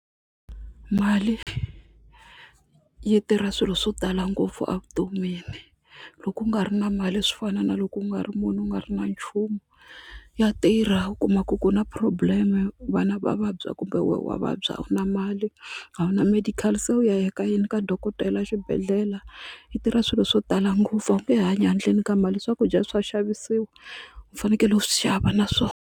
Mali yi tirha swilo swo tala ngopfu evutomini loko u nga ri na mali swo fana na loko u nga ri munhu u nga ri na nchumu ya tirha u kuma ku ku na problem vana va vabya kumbe wena wa vabya a wu na mali a wu na medical se u ya eka yini ka dokodela xibedhlele yi tirha swilo swo tala ngopfu a wu nge hanyi handleni ka mali swakudya swa xavisiwa u fanekele u swi xava na swona.